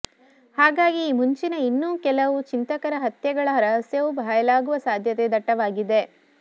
ಹಾಗಾಗಿ ಈ ಮುಂಚಿನ ಇನ್ನೂ ಕೆಲವು ಚಿಂತಕರ ಹತ್ಯೆಗಳ ರಹಸ್ಯವೂ ಬಯಲಾಗುವ ಸಾಧ್ಯತೆ ದಟ್ಟವಾಗಿದೆ